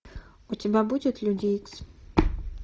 у тебя будет люди икс